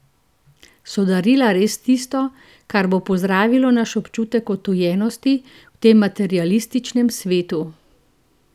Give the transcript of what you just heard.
So darila res tisto, kar bo pozdravilo naš občutek odtujenosti v tem materialističnem svetu?